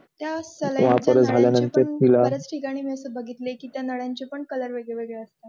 बरेच ठिकाणी मी असं बघितले की त्या नळ्यांचे पण color वेगळे वेगळे असतात.